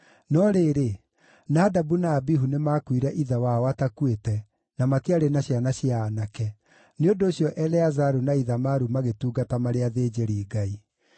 No rĩrĩ, Nadabu na Abihu nĩmakuire ithe wao atakuĩte, na matiarĩ na ciana cia aanake; nĩ ũndũ ũcio Eleazaru na Ithamaru magĩtungata marĩ athĩnjĩri-Ngai.